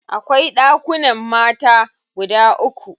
Akwai ɗakunan mata guda uku.